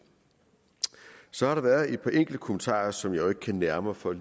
så har der været et par enkelte kommentarer som jeg jo ikke kan nære mig for at